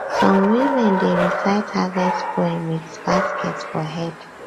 some women dey recite harvest poem with basket for head